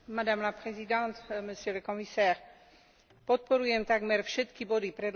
Podporujem takmer všetky body predloženej správy a gratulujem kolegovi Kaczmarkovi.